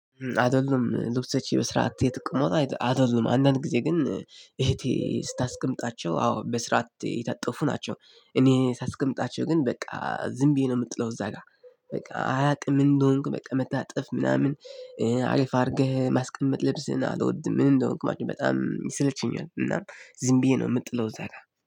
አይደሉም ልብሶቼ በስራት የተቀመጡ አይደሉም አንዳንድ ጊዜ ግን እህቴ ስታስቀምጣቸው አዎ በስራት የታጠፉ ናቸው። እኔ ሳስቀምጣቸው ግን በቃ ዝም ብዬ ነው የምጥለው እዛ ጋር በቃ አላቅም ምን እንደሆንክ በቃ መታጠፍ ምናምን። አሪፍ አድርገህ ማስቀመጥ ልብስህን አልወድም ምን እንደሆንክ ማለት ነው በጣም ይሰለቸኛል። እና ዝም ብዬ ነው የምጥለው እዛ ጋር